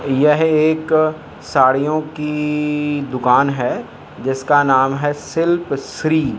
यह एक साड़ियों की दुकान है जिसका नाम है शिल्प श्री।